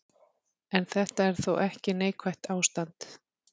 En þetta er þó ekki neikvætt ástand.